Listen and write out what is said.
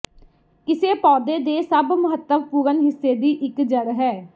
ਕਿਸੇ ਪੌਦੇ ਦੇ ਸਭ ਮਹੱਤਵਪੂਰਨ ਹਿੱਸੇ ਦੀ ਇਕ ਜੜ੍ਹ ਹੈ